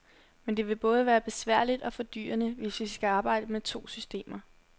Men det vil både være besværligt og fordyrende, hvis vi skal arbejde med to systemer.